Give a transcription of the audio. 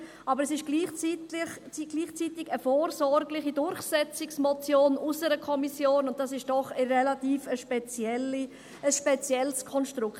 Aber es ist gleichzeitig eine vorsorgliche Durchsetzungsmotion aus einer Kommission, und dies ist doch ein relativ spezielles Konstrukt.